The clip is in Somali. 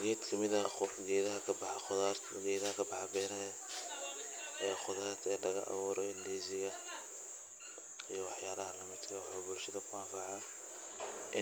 geed ka mid ah geedaha khudarta ee kabaxa beeraha ee khudaarta laga abuurayao ndizi ga